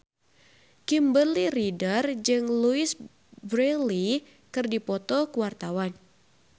Kimberly Ryder jeung Louise Brealey keur dipoto ku wartawan